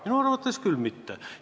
Minu arvates küll mitte.